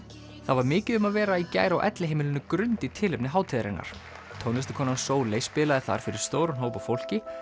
það var mikið um að vera í gær á elliheimilinu Grund í tilefni hátíðarinnar Sóley spilaði þar fyrir stóran hóp af fólki